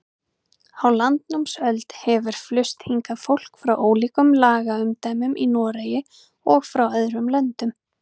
Á landnámsöld hefur flust hingað fólk frá ólíkum lagaumdæmum í Noregi og frá öðrum löndum.